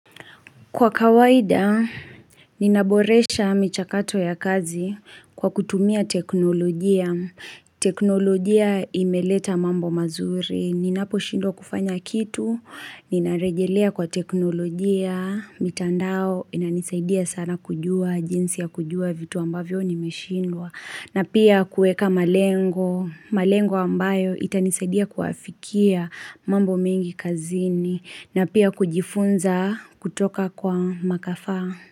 Kwa kawaida ninaboresha michakato ya kazi kwa kutumia teknolojia teknolojia imeleta mambo mazuri. Ninaposhindwa kufanya kitu ninarejelea kwa teknolojia mitandao inanisaidia sana kujua jinsi ya kujua vitu ambavyo nimeshindwa na pia kueka malengo malengo ambayo itanisaidia kuafikia mambo mengi kazini na pia kujifunza kutoka kwa makafaa.